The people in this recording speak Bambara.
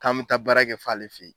K'an bɛ taa baara kɛ f'ɔ ale fɛ yen.